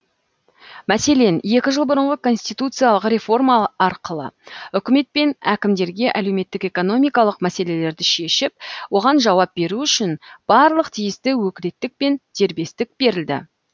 мәселен екі жыл бұрынғы конституциялық реформа арқылы үкімет пен әкімдерге әлеуметтік экономикалық мәселелерді шешіп оған жауап беру үшін барлық тиісті өкілеттік пен дербестік берілді